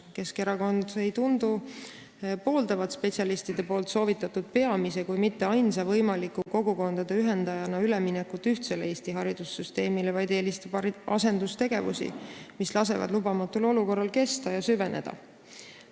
Keskerakond ei tundu pooldavat spetsialistide soovitatud peamist kui mitte ainsat võimalust kogukondade ühendamiseks – üleminekut ühtsele Eesti haridussüsteemile –, vaid eelistab asendustegevusi, mis lasevad lubamatul olukorral kesta ja süveneda.